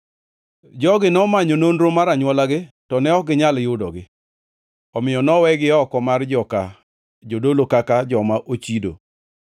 Jogi nomanyo nonro mar anywolagi to ne ok ginyal yudogi, omiyo nowegi oko mar joka jodolo kaka joma ochido.